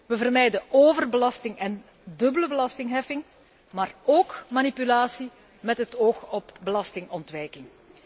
Wij vermijden overbelasting en dubbele belastingheffing, maar ook manipulatie met het oog op belastingontwijking.